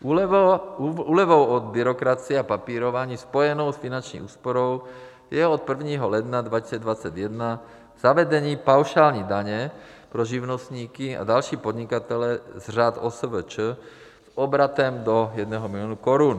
Úlevou od byrokracie a papírování spojenou s finanční úsporou je od 1. ledna 2021 zavedení paušální daně pro živnostníky a další podnikatele z řad OSVČ s obratem do 1 milionu korun.